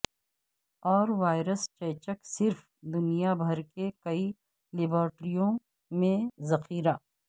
اور وائرس چیچک صرف دنیا بھر کے کئی لیبارٹریوں میں ذخیرہ